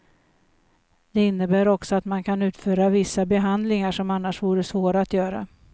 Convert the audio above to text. Det innebär också att man kan utföra vissa behandlingar som annars vore svåra att göra.